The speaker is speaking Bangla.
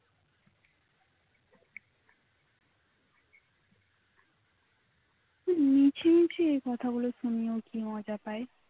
মিছিমিছি এ কথাগুলো শুনিয়ে কি মজা পায়